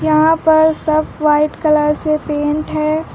यहां पर सब व्हाइट कलर से पेंट है।